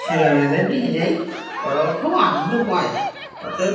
ছেলেমেয়েদের নিয়ে যাই ওরাও খুব আনন্দ পায় ওতে--